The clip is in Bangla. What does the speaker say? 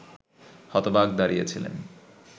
হতবাক দাঁড়িয়ে ছিলেন